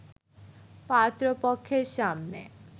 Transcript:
পাত্রপক্ষের সামনে